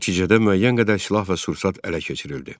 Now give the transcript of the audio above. Nəticədə müəyyən qədər silah və sursat ələ keçirildi.